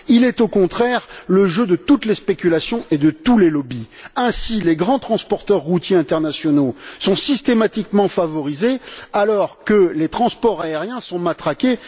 Il est, au contraire, le jeu de toutes les spéculations et de tous les lobbies. Ainsi, les grands transporteurs routiers internationaux sont systématiquement favorisés, alors que les transports aériens sont matraqués.